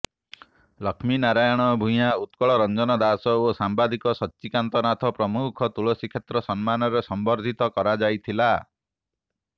ଲକ୍ଷ୍ମୀନାରାୟଣ ଭୂୟାଁ ଉତ୍କଳରଞ୍ଜନ ଦାସ ଓ ସାମ୍ବାଦିକ ସଚ୍ଚିକାନ୍ତ ନାଥ ପ୍ରମୁଖଙ୍କୁ ତୁଳସୀକ୍ଷେତ୍ର ସମ୍ମାନରେ ସମ୍ବର୍ଦ୍ଧିତ କରାଯାଇଥିଲା